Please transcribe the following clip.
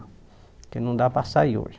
Porque não dá para sair hoje.